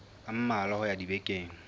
a mmalwa ho ya dibekeng